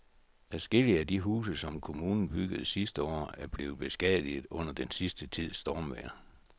Adskillige af de huse, som kommunen byggede sidste år, er blevet beskadiget under den sidste tids stormvejr.